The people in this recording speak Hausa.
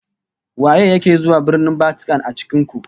Waye yake zuwa Birnin Vatican a cikin ku?